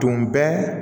Tun bɛ